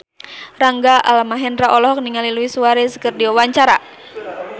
Rangga Almahendra olohok ningali Luis Suarez keur diwawancara